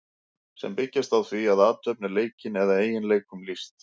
sem byggjast á því að athöfn er leikin eða eiginleikum lýst